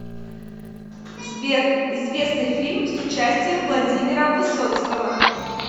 сбер известный фильм с участием владимира высоцкого